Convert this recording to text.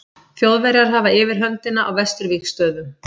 Þjóðverjar hafa yfirhöndina á vesturvígstöðvum.